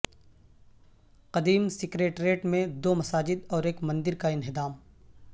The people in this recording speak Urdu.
قدیم سکریٹریٹ میں دو مساجد اور ایک مندر کا انہدام